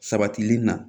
Sabatili na